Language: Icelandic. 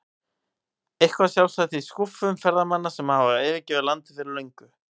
Eitthvað sjálfsagt í skúffum ferðamanna sem hafa yfirgefið landið fyrir löngu.